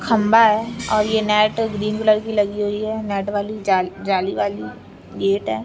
खम्बा है और ये नेट ग्रीन कलर की लगी हुई है नेट वाली जा जाली वाली गेट है।